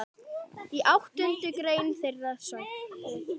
Í áttundu grein þeirra segir